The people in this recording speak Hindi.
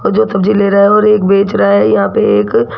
और जो सब्जी ले रहा है और एक बेच रहा है यहां पे एक--